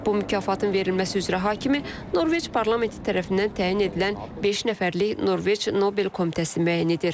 Bu mükafatın verilməsi üzrə hakimi Norveç parlamenti tərəfindən təyin edilən beş nəfərlik Norveç Nobel Komitəsi müəyyən edir.